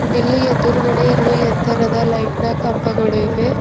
ಇಲ್ಲಿ ಎದುರಗಡೆ ಎರಡು ಎತ್ತರದ ಲೈಟ್ ನ ಕಂಬಗಳು ಇವೆ.